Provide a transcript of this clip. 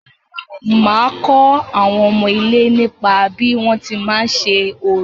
Màá kọ́ àwọn ọmọ ilé nípa bí wọ́n ti má ń ṣe orò.